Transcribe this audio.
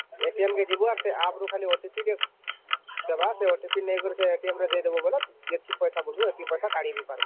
ଯିବୁ ଆଉ ସେ app ରୁ ଗୋଟେ OTP ଟେ ଦବ ଆଉ ସେ OTP ନେଇକି ସେ ରେ ଦେଇଦବା ବୋଲେ ଯେତିକି ପଇସା ମାଗୁ ସେତକୀ ପଇସା କାଢି ବି ପାରୁ